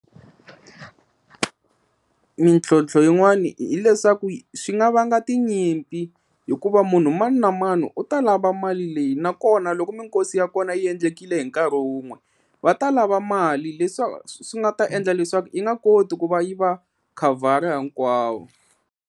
Mintlhontlho yin'wani hileswaku swi nga vanga tinyimpi hikuva munhu mani na mani u ta lava mali leyi nakona loko mikosi ya kona yi endlekile hi nkarhi wun'we va ta lava mali leswa swi nga ta endla leswaku yi nga koti ku va yi va khavhara hinkwavo.